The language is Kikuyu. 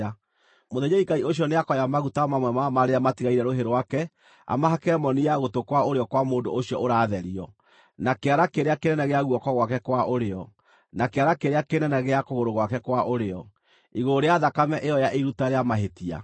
Mũthĩnjĩri-Ngai ũcio nĩakoya maguta mamwe ma marĩa matigaire rũhĩ rwake amahake moni ya gũtũ kwa ũrĩo kwa mũndũ ũcio ũratherio, na kĩara kĩrĩa kĩnene gĩa guoko gwake kwa ũrĩo, na kĩara kĩrĩa kĩnene gĩa kũgũrũ gwake kwa ũrĩo, igũrũ rĩa thakame ĩyo ya iruta rĩa mahĩtia.